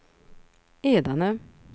Edane